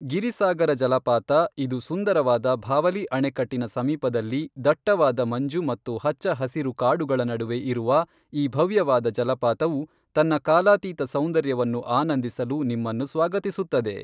ಗಿರಿಸಾಗರ ಜಲಪಾತ, ಇದು ಸುಂದರವಾದ ಭಾವಲಿ ಅಣೆಕಟ್ಟಿನ ಸಮೀಪದಲ್ಲಿ ದಟ್ಟವಾದ ಮಂಜು ಮತ್ತು ಹಚ್ಚ ಹಸಿರು ಕಾಡುಗಳ ನಡುವೆ ಇರುವ ಈ ಭವ್ಯವಾದ ಜಲಪಾತವು ತನ್ನ ಕಾಲಾತೀತ ಸೌಂದರ್ಯವನ್ನು ಆನಂದಿಸಲು ನಿಮ್ಮನ್ನು ಸ್ವಾಗತಿಸುತ್ತದೆ.